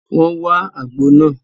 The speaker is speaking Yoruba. Wọ́n wá àgbo náà